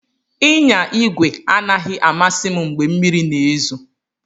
Ịnya igwe anaghị amasị m mgbe mmiri na-ezo.